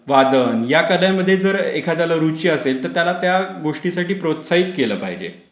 वादन या प्रकारांमध्ये जर एखाद्याला घ्यायची असेल तर त्याला त्या गोष्टीसाठी प्रोत्साहित केलं पाहिजे.